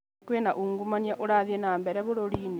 Kwĩna ungumania ũrathiĩ nambere bũrũri-inĩ